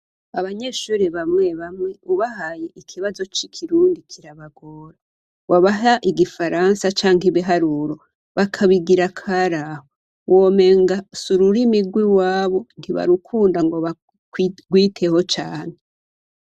Abanyeshuri bamwe bamwe bubaha icirwa c'ikirundi kirabagora wabaha igifaransa canke ibiharuro bakabigira akaraho womenga sururimi rwi wabo ntibarukunda ngo barwiteho cane.